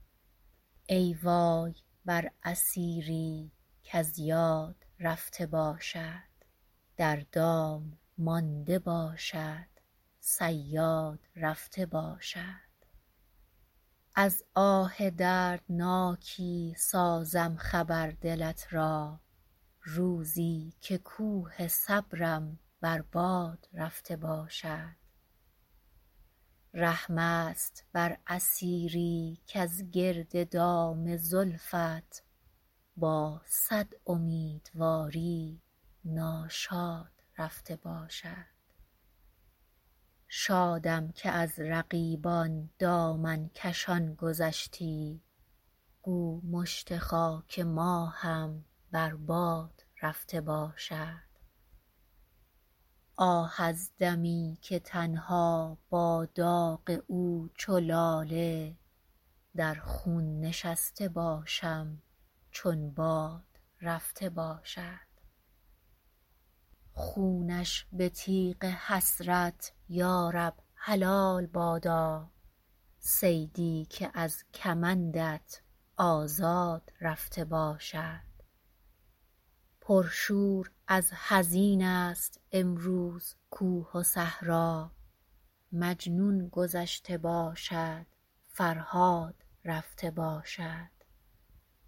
ای وای بر اسیری کز یاد رفته باشد در دام مانده باشد صیاد رفته باشد از آه دردناکی سازم خبر دلت را روزی که کوه صبرم بر باد رفته باشد رحم است بر اسیری کز گرد دام زلفت با صد امیدواری ناشاد رفته باشد شادم که از رقیبان دامن کشان گذشتی گو مشت خاک ما هم بر باد رفته باشد آه از دمی که تنها با داغ او چو لاله در خون نشسته باشم چون باد رفته باشد خونش به تیغ حسرت یارب حلال بادا صیدی که از کمندت آزاد رفته باشد پرشور از حزین است امروز کوه و صحرا مجنون گذشته باشد فرهاد رفته باشد